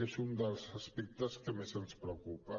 és un dels aspectes que més ens preocupa